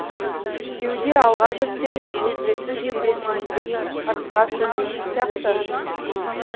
кеуде алға жүрсе бөксесі сүйретіліңкіреп ырыққа көнбейтін сияқты